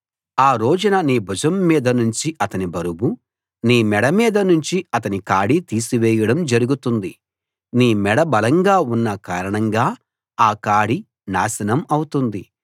ఆ రోజున నీ భుజం మీద నుంచి అతని బరువు నీ మెడ మీద నుంచి అతని కాడి తీసివేయడం జరుగుతుంది నీ మెడ బలంగా ఉన్న కారణంగా ఆ కాడి నాశనం అవుతుంది